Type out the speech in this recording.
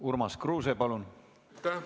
Urmas Kruuse, palun!